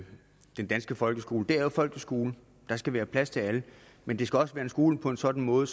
den danske folkeskole det er jo folkets skole der skal være plads til alle men det skal også være en skole på en sådan måde